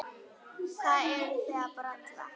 Hvað eruð þið að bralla?